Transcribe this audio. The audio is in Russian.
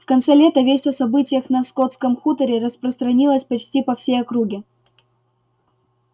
в конце лета весть о событиях на скотском хуторе распространилась почти по всей округе